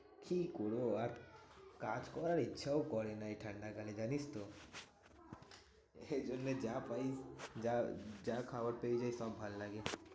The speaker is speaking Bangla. কি করবো আর? কাজ করার ইচ্ছাও করে না এই ঠান্ডাকালে জানিসতো? এই জন্য যা পাই যা যা খাবার পেয়ে যাই সব ভালো লাগে।